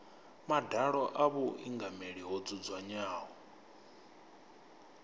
madalo a vhuingameli ho dzudzanywaho